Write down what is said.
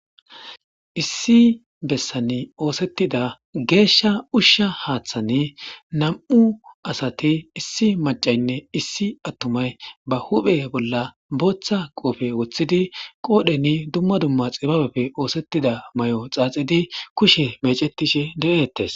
Issi bessan oosettida geeshsha ushsha haaththan nam'u asati issi maccaynne issi atumay ba huphe bolla booththa kopiyo woththidi qoodhen dumma dumma xibabappe oosettida mayo xaaxidi kushe meecetishe de'etees.